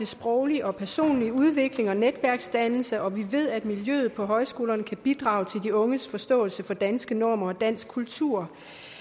sproglig og personlig udvikling og netværksdannelse og vi ved at miljøet på højskolerne kan bidrage til de unges forståelse for danske normer og dansk kultur